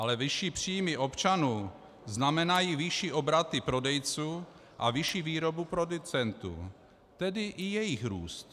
Ale vyšší příjmy občanů znamenají vyšší obraty prodejců a vyšší výrobu producentů, tedy i jejich růst.